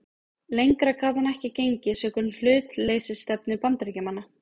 Lengra gat hann ekki gengið sökum hlutleysisstefnu Bandaríkjamanna.